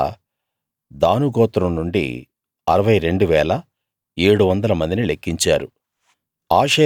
అలా దాను గోత్రం నుండి 62 700 మందిని లెక్కించారు